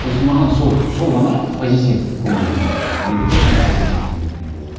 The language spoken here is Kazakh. то есть маған сол сол ғана позитив көңіл күй менде тек қана позитив көңіл күй болады